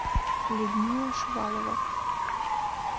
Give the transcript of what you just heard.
людмила шувалова